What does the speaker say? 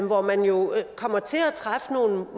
hvor man jo kommer til at træffe nogle